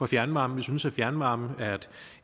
fjernvarmen vi synes at fjernvarmen